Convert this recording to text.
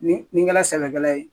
Ni nin kɛla sɛbɛkɛla ye